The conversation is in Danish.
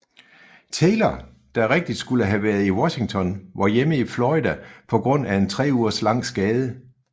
Taylor der rigtig skulle have været i Washington var hjemme i Florida på grund af en 3 ugers lang skade